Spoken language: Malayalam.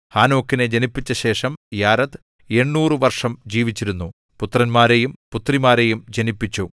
ഹാനോക്കിനെ ജനിപ്പിച്ച ശേഷം യാരെദ് 800 വർഷം ജീവിച്ചിരുന്നു പുത്രന്മാരെയും പുത്രിമാരെയും ജനിപ്പിച്ചു